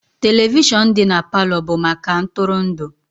Televishọnụ dị na Palọ bụ maka ntụrụndụ